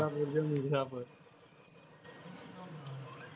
મિરઝાપુર જો મિરઝાપુર.